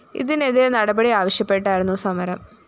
ഇതിനെതിരെ നടപടി ആവശ്യപ്പെട്ടായിരുന്നു സമരം